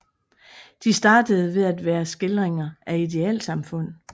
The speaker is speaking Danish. De startede med at være skildringer af idealsamfund